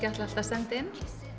ætlað að senda inn